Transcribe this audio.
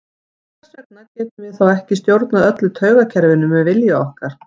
Hvers vegna getum við þá ekki stjórnað öllu taugakerfinu með vilja okkar?